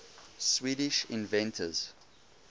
swedish inventors